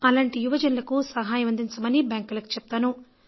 అలాంటి యువజనులకు సహాయం అందించమని బ్యాంకులకు చెప్తాను